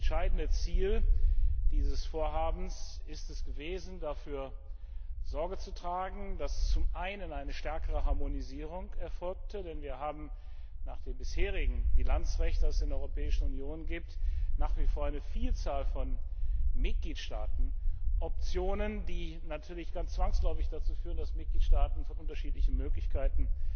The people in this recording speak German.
Das entscheidende Ziel dieses Vorhabens ist es gewesen, dafür Sorge zu tragen, dass zum einen eine stärkere Harmonisierung erfolgte, denn wir haben nach dem bisherigen Bilanzrecht, das es in der Europäischen Union gibt, nach wie vor eine Vielzahl von Mitgliedstaatenoptionen, die natürlich ganz zwangsläufig dazu führen, dass Mitgliedstaaten von unterschiedlichen Möglichkeiten